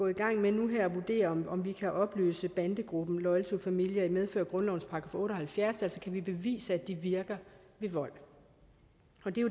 i gang med med at vurdere om vi kan opløse bandegruppen loyal to familia i medfør af grundlovens § otte og halvfjerds altså vi bevise at de virker ved vold